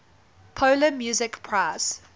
polar music prize